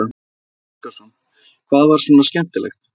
Gísli Óskarsson: Hvað var svona skemmtilegt?